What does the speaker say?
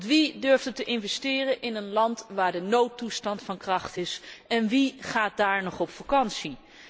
Want wie durfde er te investeren in een land waar de noodtoestand van kracht is en wie gaat daar nog op vakantie?